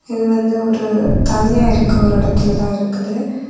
இது வந்து ஒரு தனியா இருக்கு ஒரு இடத்தில தான் இருக்கு.